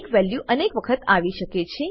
એક વેલ્યુ અનેક વખતે આવી શકે છે